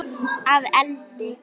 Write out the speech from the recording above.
Mér leiðist gremja þín.